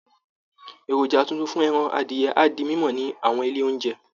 Èròjà tuntun fún ẹran adìyẹ á di mímọ̀ ní àwọn ilé oúnjẹ